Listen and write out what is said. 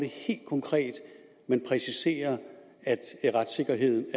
helt konkret præciserer at retssikkerheden